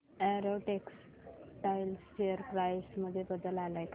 Arrow textiles share price मध्ये बदल आलाय का